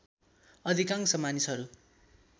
अधिकांश मानिसहरू